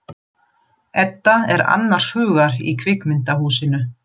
Edda er annars hugar í kvikmyndahúsinu.